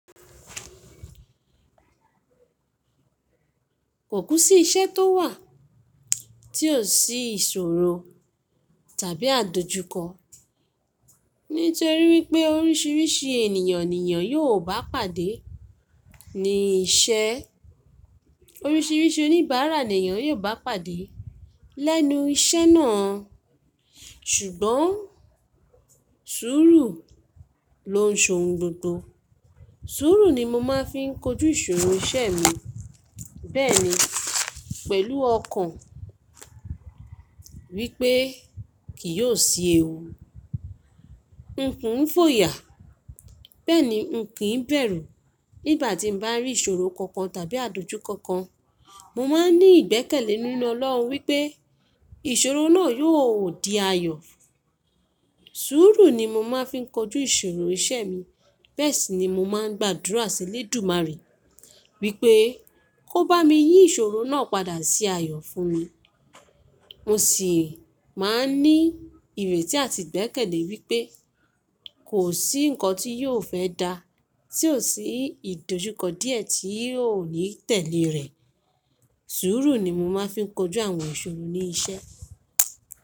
Kò kú sí iṣẹ́ tó wà tí ò sí ìṣòro tàbí àdojúkọ. Nítorí wípé oríṣiríṣi ènìyàn ni nìyàn yóò bá pàdé ní iṣẹ́. Oríṣiríṣi oníbàárà ni èèyàn yóò bá pàdé lẹ́nu iṣẹ́ náà. Ṣùgbọ́n sùúrù ló n so gbogbo. Sùúrù ni mo máa ń fi kojú ìṣòro iṣẹ́ mi. Bẹ́ẹ̀ni pẹ̀lú ọkàn wípé kì yóò ṣi é wù. Nǹkún ń fòyà, bẹ́ẹ̀ni nǹkin ń bẹ̀rù. Nígbà tí n bá rí ìṣòro kankan tàbí àdojúkọ kan, mo máa ń ní ìgbẹ́kẹ̀lé nínú Ọlọ́run wípé ìṣòro náà yóò di ayọ̀. Sùúrù ni mo máa ń fi kojú ìṣòro iṣẹ́ mi. Bẹ́ẹ̀ sì ni mo máa ń gbàdúrà sí Elédùmarè wípé kó bá mi yí ìṣòro náà padà sí ayọ̀ fún mi. Mo sì máa ń ní ìrètí àti ìgbẹ́kẹ̀lé wípé kò sí nǹkan tí yóò fẹ́ dá, tí ò sí ìdojúkọ díẹ̀ tí yóò ní tẹ̀lé rẹ̀. Sùúrù ni mo máa ń fi kojú àwọn ìṣòro ní iṣẹ́.